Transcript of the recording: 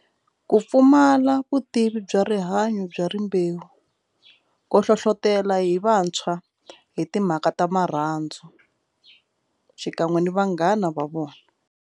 Ku pfumala vutivi bya rihanyo bya rimbewu ko hlohlotelo hi vantshwa hi timhaka ta marhandzu xikan'we ni vanghana va vona.